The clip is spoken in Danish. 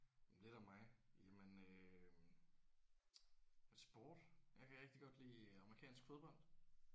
Men lidt om mig jamen øh sport jeg kan rigtig godt lide amerikansk fodbold